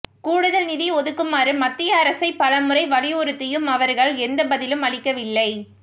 கூடுதல் நிதி ஒதுக்குமாறு மத்திய அரசை பலமுறை வலியுறுத்தியும் அவர்கள் எந்த பதிலும் அளிக்கவில்லை